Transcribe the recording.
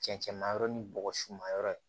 Cɛncɛnmayɔrɔ ni bɔgɔsu ma yɔrɔ ye